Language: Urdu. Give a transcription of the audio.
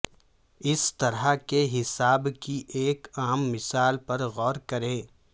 اس طرح کے حساب کی ایک عام مثال پر غور کریں